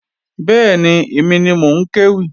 Bẹ́ẹ̀ni, èmi ni mò ń kéwì